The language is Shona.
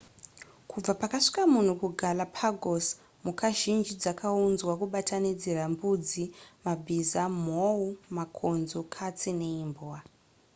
kubva pakasvika munhu kugalapagos mhuka zhinji dzakaunzwa kubatanidzira mbudzi mabhiza mhou makonzo katsi neimbwa